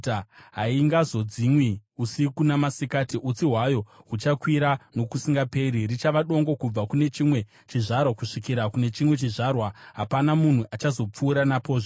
Haingadzimwi usiku namasikati; utsi hwayo huchakwira nokusingaperi. Richava dongo kubva kune chimwe chizvarwa kusvikira kune chimwe chizvarwa; hapana munhu achazopfuura napozve.